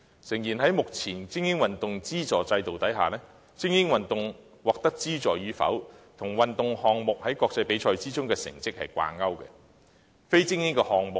誠然，在目前精英運動資助制度下，精英運動獲得資助與否，與相關運動項目在國際比賽中的成績掛鈎。